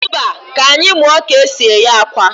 Mba, ka anyị muọ ka e si eghe akwa.